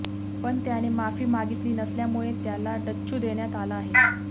पण त्याने माफी मागितली नसल्यामुळे त्याला डच्चू देण्यात आला आहे